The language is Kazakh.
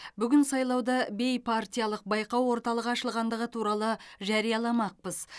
бүгін сайлауды бейпартиялық байқау орталығы ашылғандығы туралы жарияламақпыз